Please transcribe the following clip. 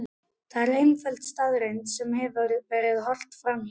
Það er einföld staðreynd sem ekki verður horft fram hjá.